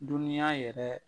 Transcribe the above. Dunuya yɛrɛ